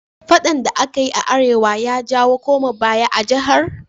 Faɗan da akayi a arewa ya jawo koma baya a jahar?